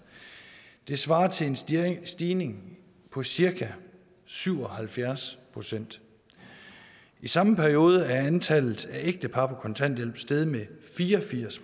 det svarer til en stigning stigning på cirka syv og halvfjerds procent i samme periode er antallet af ægtepar på kontanthjælp steget med fire og firs